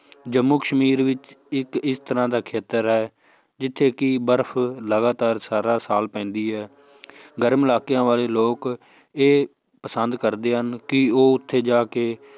ਜੰਮੂ ਕਸ਼ਮੀਰ ਵਿੱਚ ਇੱਕ ਇਸ ਤਰ੍ਹਾਂ ਦਾ ਖੇਤਰ ਹੈ ਜਿੱਥੇ ਕਿ ਬਰਫ਼ ਲਗਾਤਾਰ ਸਾਰਾ ਸਾਲ ਪੈਂਦੀ ਹੈ ਗਰਮ ਇਲਾਕਿਆਂ ਵਾਲੇ ਲੋਕ ਇਹ ਪਸੰਦ ਕਰਦੇ ਹਨ ਕਿ ਉਹ ਉੱਥੇ ਜਾ ਕੇ